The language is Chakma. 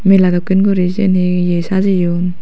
mela dokken guri siyen he ye sajeyon.